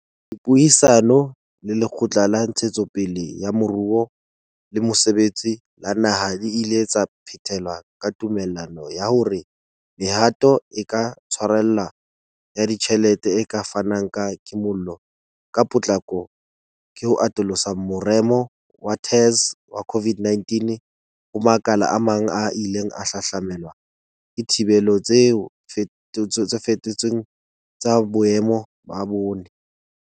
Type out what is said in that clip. Dipuisano le Lekgotla la Ntshetsopele ya Moruo le Mosebetsi la Naha di ile tsa phethela ka tumellano ya hore mehato e ka tshwarellang ya ditjhelete e ka fanang ka kimollo ka potlako ke ho atolosa moremo wa TERS wa COVID-19 ho makala a mang a ileng a hahlamelwa ke dithibelo tse feto tsweng tsa boemo ba bone.